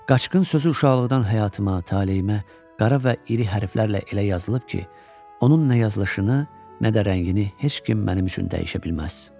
Qaçqın sözü uşaqlıqdan həyatıma, taleymə qara və iri hərflərlə elə yazılıb ki, onun nə yazılışını, nə də rəngini heç kim mənim üçün dəyişə bilməz.